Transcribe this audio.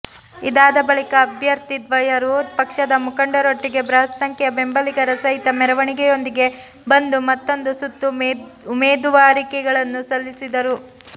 ಇದಾದ ಬಳಿಕ ಅಭ್ಯರ್ಥಿದ್ವಯರು ಪಕ್ಷದ ಮುಖಂಡರೊಟ್ಟಿಗೆ ಬೃಹತ್ ಸಂಖ್ಯೆಯ ಬೆಂಬಲಿಗರ ಸಹಿತ ಮೆರವಣಿಗೆಯೊಂದಿಗೆ ಬಂದು ಮತ್ತೊಂದು ಸುತ್ತು ಉಮೇದುವಾರಿಕೆಗಳನ್ನು ಸಲ್ಲಿಸಿದರು